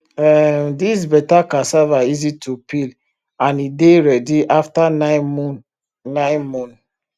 um this beta cassava easy to peel and e dey ready after nine moon nine moon